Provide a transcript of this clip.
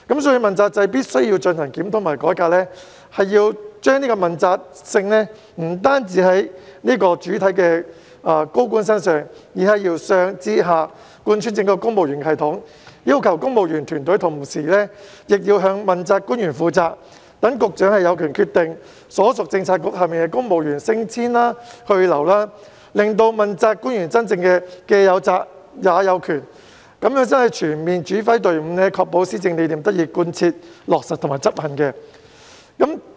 所以，問責制必須進行檢討和改革，問責性不單體現在高官身上，而是要由上至下貫穿整個公務員系統，要求公務員團隊同時向問責官員負責，讓局長有權決定所屬政策局轄下的公務員升遷去留，令到問責官員真正"既有責也有權"，這樣才可以全面指揮隊伍，確保施政理念得以貫徹落實和執行。